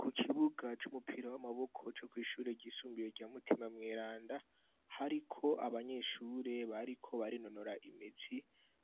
Ku kibuga c'umupira w'amaboko co kw'ishure ryisumbiye rya mutima mweranda hariko abanyeshure bariko barinonora imitsi